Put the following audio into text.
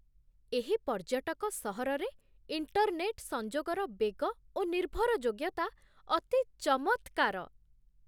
ଏହି ପର୍ଯ୍ୟଟକ ସହରରେ ଇଣ୍ଟର୍‌ନେଟ୍ ସଂଯୋଗର ବେଗ ଓ ନିର୍ଭରଯୋଗ୍ୟତା ଅତି ଚମତ୍କାର।